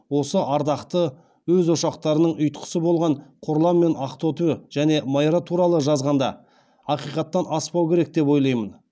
осы ардақты өз ошақтарының ұйтқысы болған қорлан мен ақтоты және майра туралы жазғанда ақиқаттан аспау керек деп ойлаймын